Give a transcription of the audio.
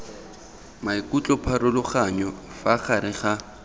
maikutlo pharologanyo fa gare ga